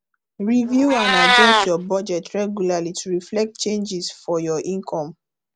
review and adjust your budget regularly to reflect changes for your income